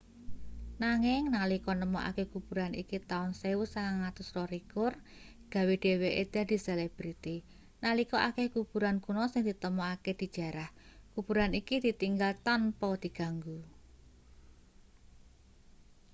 nanging nalika nemokake kuburan iki taun 1922 gawe dheweke dadi selebriti nalika akeh kuburan kuna sing ditemokake dijarah kuburan iki ditinggal tanpa diganggu